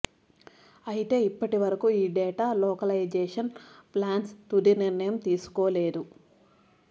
అయితే ఇప్పటి వరకు ఈ డేటా లోకలైజేషన్ ప్లాన్స్పై తుది నిర్ణయం తీసుకోలేదు